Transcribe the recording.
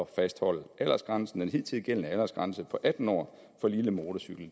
fastholde aldersgrænsen den hidtil gældende aldersgrænse på atten år for lille motorcykel